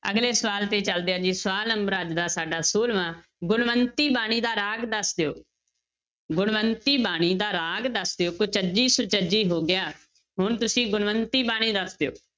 ਅਗਲੇ ਸਵਾਲ ਤੇ ਚੱਲਦੇ ਹਾਂ ਜੀ ਸਵਾਲ number ਅੱਜ ਦਾ ਸਾਡਾ ਛੋਲਵਾਂ ਗੁਣਵੰਤੀ ਬਾਣੀ ਦਾ ਰਾਗ ਦੱਸ ਦਿਓ, ਗੁਣਵੰਤੀ ਬਾਣੀ ਦਾ ਰਾਗ ਦੱਸ ਦਿਓ ਕੁਚੱਜੀ ਸੁਚੱਜੀ ਹੋ ਗਿਆ, ਹੁਣ ਤੁਸੀਂ ਗੁਣਵੰਤੀ ਬਾਣੀ ਦੱਸ ਦਿਓ।